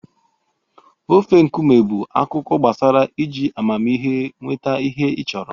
Ofe nkume bụ akụkọ gbasara iji amamihe nweta ihe ị chọrọ.